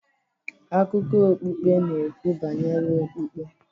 Akụkọ okpukpe n'ekwu banyere okpukpe